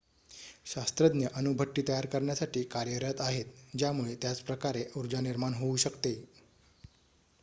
शास्त्रज्ञ अणुभट्टी तयार करण्यासाठी कार्यरत आहेत ज्यामुळे त्याच प्रकारे ऊर्जा निर्माण होऊ शकते